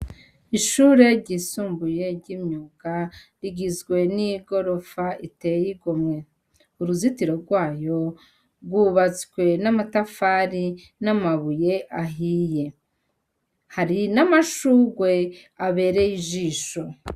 Ishure ryisumbuye ry'imyuga, rigizwe n'igorofa iteye igomwe. Uruzitiro rwayo rwubatswe n'amatafari n'amabuye ahiye. Hari n'amashurwe abereye ijisho.